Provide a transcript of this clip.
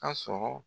Ka sɔrɔ